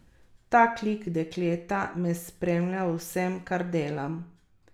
Tak lik dekleta me spremlja v vsem, kar delam.